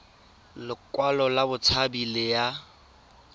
lekwalo la botshabi le ya